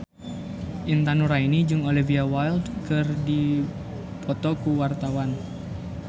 Intan Nuraini jeung Olivia Wilde keur dipoto ku wartawan